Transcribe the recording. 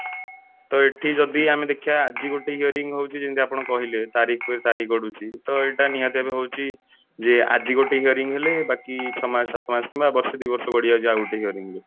ତ ଏଠି ଯଦି ଆମେ ଦେଖିବା ଆଜି ଗୋଟେ hearing ହଉଛି ଯେଇନ୍ତି ଆପଣ କହିଲେ ତାରିଖ ପେ ତାରିଖ ଗଡୁଛି ତ ଏଇଟା ନିହାତି ଭାବେ ହଉଛି ଯେ ଆଜି ଗୋଟେ hearing ହେଲେ ବାକି ଛଅ ମାସ ସାତ ମାସ କିମ୍ବା ବର୍ଷେ ଦି ବର୍ଷ ଗଡି ଯାଉଛି ଆଉ ଗୋଟେ hearing ରେ